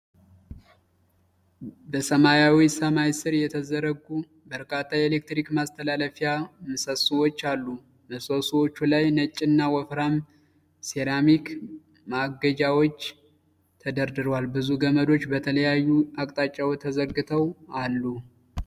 በሰማያዊ ሰማይ ሥር የተዘረጉ በርካታ የኤሌክትሪክ ማስተላለፊያ ምሰሶዎች አሉ። ምሰሶዎቹ ላይ ነጭና ወፍራም ሴራሚክ ማገጃዎች ተደርድረዋል። ብዙ ገመዶች በተለያዩ አቅጣጫዎች ተዘርግተው አሉ።